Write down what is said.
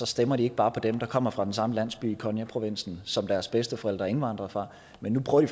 stemmer de ikke bare på dem der kommer fra den samme landsby i konya provinsen som deres bedsteforældre indvandrede fra men nu prøver